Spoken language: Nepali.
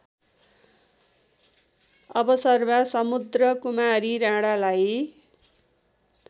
अवसरमा समुद्रकुमारी राणालाई